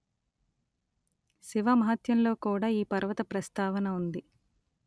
శివమహత్యంలో కూడా ఈ పర్వత ప్రస్తావన ఉంది